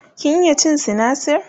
kin iya cin sinasir?